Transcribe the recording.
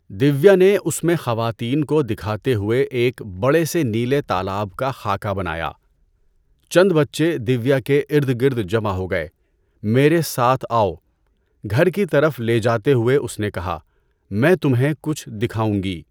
دویا نے اس میں خواتین کو دکھاتے ہوئے ایک بڑے سے نیلے تالاب کا خاکہ بنایا۔ چند بچے دویا کے ارد گرد جمع ہو گئے۔ میرے ساتھ آؤ، گھر کی طرف لے جاتے ہوئے اس نے کہا، میں تمہیں کچھ دکھاؤں گی۔